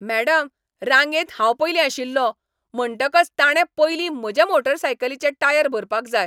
Madam, रांगेंत हांव पयलीं आशिल्लों, म्हणटकच ताणें पयलीं म्हजे मोटारसायकलीचे टायर भरपाक जाय.